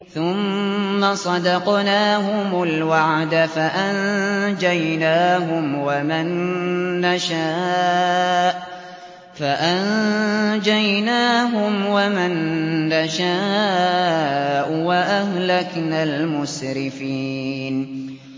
ثُمَّ صَدَقْنَاهُمُ الْوَعْدَ فَأَنجَيْنَاهُمْ وَمَن نَّشَاءُ وَأَهْلَكْنَا الْمُسْرِفِينَ